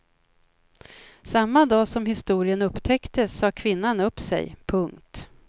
Samma dag som historien upptäcktes sade kvinnan upp sig. punkt